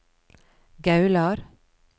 Gaular